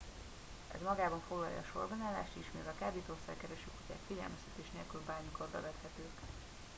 ez magában foglalja a sorbanállást is mivel a kábítószer kereső kutyák figyelmeztetés nélkül bármikor bevethetők